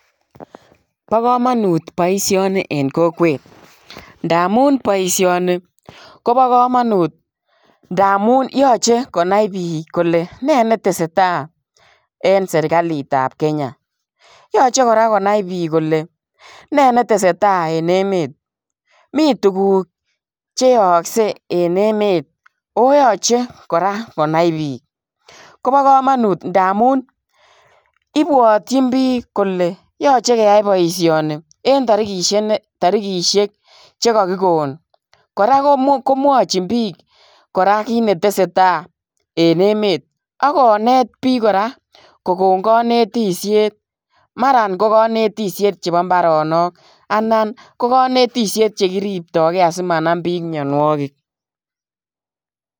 Bo kamanut boisioni en kokwet ndamun boisioni koba kamanut ngamun yoche konai biik kole ne neteseta en sergalitab Kenya. Yooche kora konai biik kole ne netesetai en emet. Mi tuguk che yooksei en emet ago yoche kora konai biik, koba kamanut ndamun ibwotyin biik kole yooche keyai boisioni en tarigisiek che kagigon. Kora komwachin biik kora kit netesetai en emet ak konet biik kora kogon konetisyet. Mara ko konetsyet chepo mbaronok anan ko konetisyet chegiriptoge asimanam biik mianwogik.